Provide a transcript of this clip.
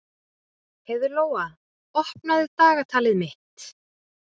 Heiðlóa, opnaðu dagatalið mitt.